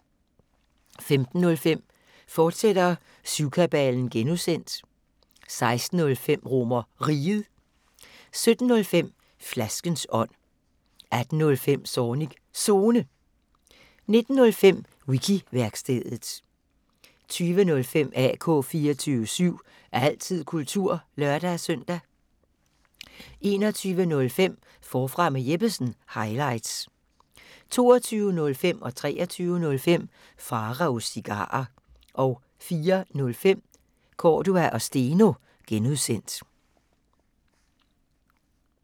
15:05: Syvkabalen (G), fortsat 16:05: RomerRiget 17:05: Flaskens ånd 18:05: Zornigs Zone 19:05: Wiki-værkstedet 20:05: AK 24syv – altid kultur (lør-søn) 21:05: Forfra med Jeppesen – highlights 22:05: Pharaos Cigarer 23:05: Pharaos Cigarer 04:05: Cordua & Steno (G)